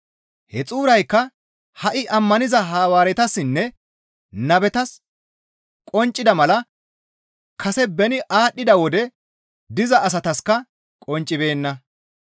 He xuuraykka ha7i ammaniza Hawaaretassinne nabetas qonccida mala kase beni aadhdhida wode diza asataskka qonccibeenna.